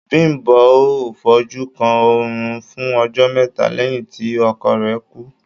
Bím̀bó ò fojú kan oòrùn fún ọjọ́ mẹ́ta lẹ́yìn tí ọkọ rẹ̀ kú.